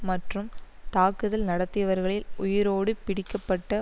மற்றும் தாக்குதல் நடத்தியவர்களில் உயிரோடு பிடிக்க பட்ட